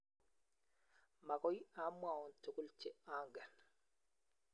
Mokoi amwaun togul che angen.